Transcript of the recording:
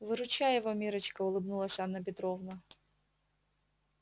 выручай его миррочка улыбнулась анна петровна